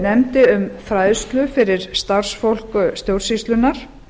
nefndi um fræðslu fyrir starfsfólk stjórnsýslunnar